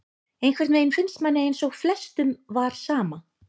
Einhvern veginn finnst manni eins og flestum var sama,